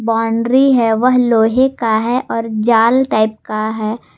Boundary हैं वह लोहे का है और जाल टाइप का है।